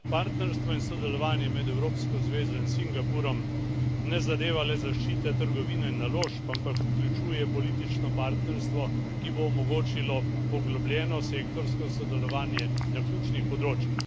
Partnerstvo in sodelovanje med Evropsko zvezo in Singapurjem ne zadeva le zaščite trgovine in naložb, ampak vključuje politično partnerstvo, ki bo omogočilo poglobljeno sektorsko sodelovanje na ključnih področjih.